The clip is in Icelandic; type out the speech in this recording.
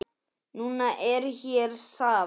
Nú er hér safn.